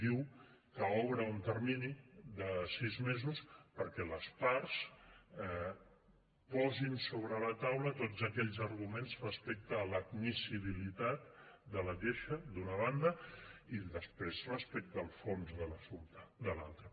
diu que obre un termini de sis mesos perquè les parts posin sobre la taula tots aquells arguments respecte a l’admissibilitat de la queixa d’una banda i després respecte al fons de l’assumpte de l’altra